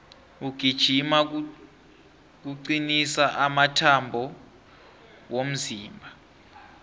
ukugijima kucnisa amathambo womzimba